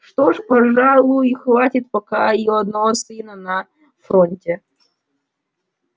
что ж пожалуй хватит пока и одного сына на фронте